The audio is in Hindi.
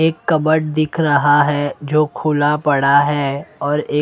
एक कबर्ड दिख रहा हैं जो खुला पड़ा हैं और एक--